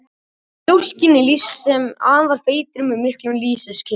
Þar er mjólkinni lýst sem afar feitri og með miklum lýsiskeim.